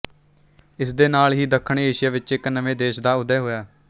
ਇਸਦੇ ਨਾਲ ਹੀ ਦੱਖਣ ਏਸ਼ੀਆ ਵਿੱਚ ਇੱਕ ਨਵੇਂ ਦੇਸ਼ ਦਾ ਉਦੈ ਹੋਇਆ